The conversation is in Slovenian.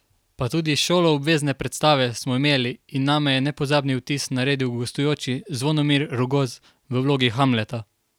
Pa tudi šoloobvezne predstave smo imeli in name je nepozabni vtis naredil gostujoči Zvonimir Rogoz v vlogi Hamleta.